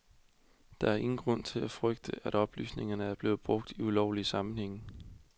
Der er ingen grund til at frygte, at oplysningerne er blevet brugt i ulovlige sammenhænge.